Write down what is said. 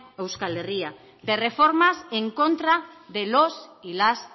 o euskal herria de reformas en contra de los y las